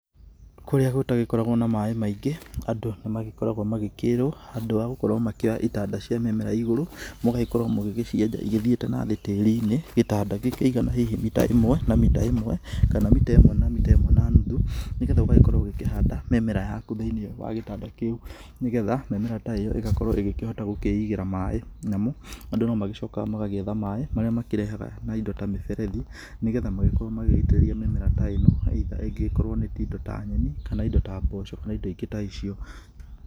Kũrĩa gũtagĩkoragwo na maĩ maingĩ andũ nĩmagĩkoragwo magĩkĩrwo handũ wa gũkorwo magĩkĩoya itanda cia mĩmera igũrũ, mũgagĩkorwo mũgĩgĩcienja igĩthiĩte na thĩ tĩrinĩ; gĩtanda gĩkĩigana hihi meter ĩmwe na meter ĩmwe, kana meter ĩmwe na meter ĩmwe na nuthu. Nigetha ũgagĩkorwo ugĩkĩhanda mĩmera yaku thĩini wa gĩtanda kĩu nigetha mĩmera ta ĩyo ĩgakorwo ĩgĩkĩhota gũkĩigĩra maĩ. Namo andũ nomagĩcokaga magagĩetha maĩ marĩa makĩrehaga na indo ta miberethi nĩgetha magĩkĩrwo magĩgĩitĩrĩria mĩmera ta ĩno either ĩngĩgĩkorwo nĩ tũindo ta nyeni, kana indo ta mboco, kana indo ingĩ ta icio